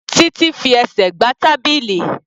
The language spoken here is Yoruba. Títí fi ẹsẹ̀ gbá tábìlì.